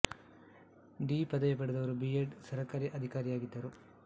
D ಪದವಿ ಪಡೆದರು B E D ಸರ್ಕಾರಿ ಅಧಿಕಾರಿಯಾಗಿದ್ದರು